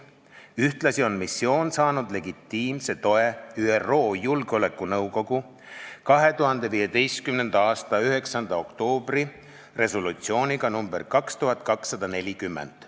Ühtlasi on missioon saanud legitiimse toe ÜRO Julgeolekunõukogu 2015. aasta 9. oktoobri resolutsiooniga nr 2240.